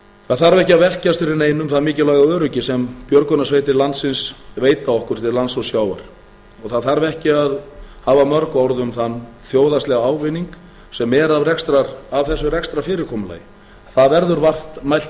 það þarf ekki að velkjast fyrir neinum það mikilvæga öryggi sem björgunarsveitir landsins veita okkur til lands og sjávar og það þarf ekki að hafa mörg orð um þann þjóðhagslega ávinning sem er af þessu rekstrarfyrirkomulagi það verður vart mælt í